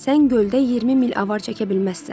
Sən göldə 20 mil avar çəkə bilməzsən.